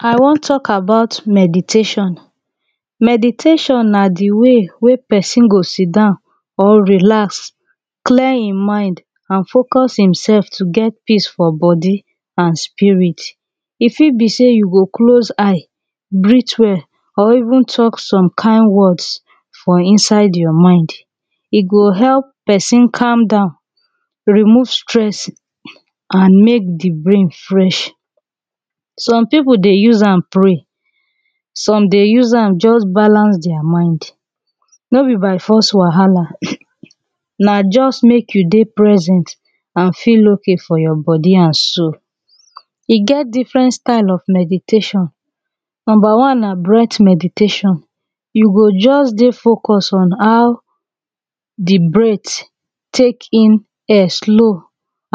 I wan talk about meditation, meditation na de way wey person go si down or relax clear him mind an focus himself to get peace for body an spirit e fit be say you go close eye breath well or even talk some kind words for inside your mind e go help person calm down remove stress an mek de brain fresh some people dey use am pray some dey use am just balance dia mind no be by force wahala na just make you dey present an feel okay for your body an soul e get different style of meditation number one na breath meditation you go just dey focus on how de breath tek in air slow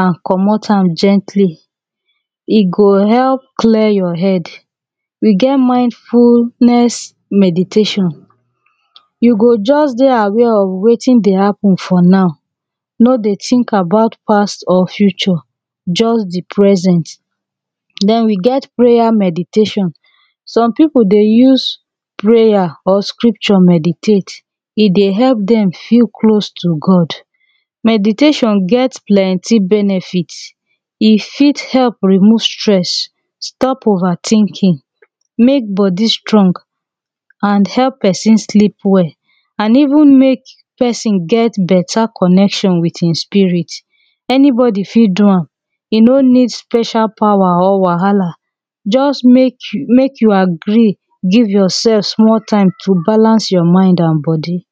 an comot am gently e go help clear your head we get mindfulness meditation you go just dey aware of wetin dey happen for now no dey tink about past or future just de present then we get prayer meditation some people dey use prayer or scripture meditate e dey help them feel close to God meditation gets plenty benefit benefit e fit help remove stress stop over tinking make body strong an help person sleep well an even make person get beta connection wit him spirit anybody fit do am e no need special power or wahala just mek you mek you agree give your self small time to balance your mind an body